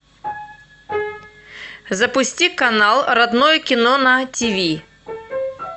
запусти канал родное кино на тиви